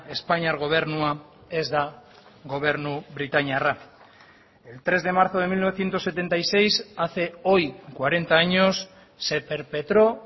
espainiar gobernua ez da gobernu britainiarra el tres de marzo de mil novecientos setenta y seis hace hoy cuarenta años se perpetró